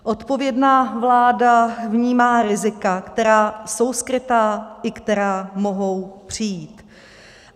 Odpovědná vláda vnímá rizika, která jsou skrytá i která mohou přijít.